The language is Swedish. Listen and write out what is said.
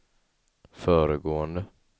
föregående